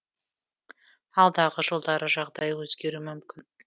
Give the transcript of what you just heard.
алдағы жылдары жағдай өзгеруі мүмкін